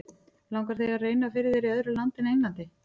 Langar þér að reyna fyrir þér í öðru landi en Englandi?